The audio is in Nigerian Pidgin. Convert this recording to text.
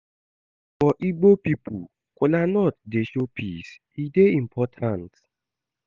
For Igbo pipo, kolanut dey show peace, e dey important.